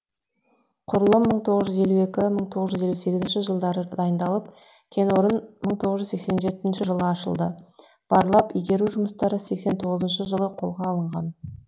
құрылым мың тоғыз жүз елу екінші мың тоғыз жүз елу сегізінші жылдары дайындалып кенорын мың тоғыз жүз елу жетінші жылы ашылды барлап игеру жұмыстары мың тоғыз жүз сексен тоғызыншы жылы қолға алынған